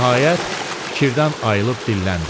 Nəhayət, fikirdən ayılıb dilləndi.